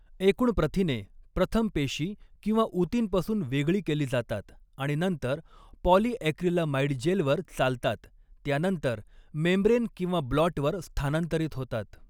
एकूण प्रथिने प्रथम पेशी किंवा ऊतींपासून वेगळी केली जातात आणि नंतर पॉलीॲक्रिलामाइड जेलवर चालतात त्यानंतर मेंब्रेन किंवा ब्लॉटवर स्थानांतरित होतात.